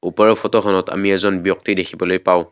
ওপৰৰ ফটোখনত আমি এজন ব্যক্তি দেখিবলৈ পাওঁ।